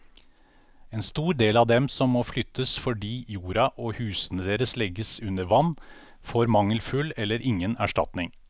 En stor del av dem som må flyttes fordi jorda og husene deres legges under vann, får mangelfull eller ingen erstatning.